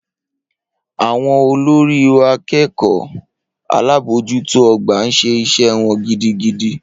Awọn olori0akekeo alabojuto ogba n se ise won gidigidi.